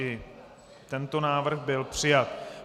I tento návrh byl přijat.